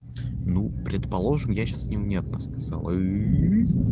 ну предположим я сейчас невнятно сказал ыы